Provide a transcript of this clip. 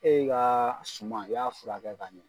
E ka suma i y'a furakɛ ka ɲɛ